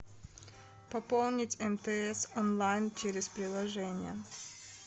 пополнить мтс онлайн через приложение